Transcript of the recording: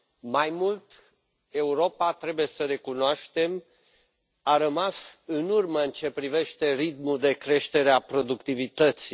Mai mult, Europa, trebuie să recunoaștem, a rămas în urmă în ceea ce privește ritmul de creștere a productivității.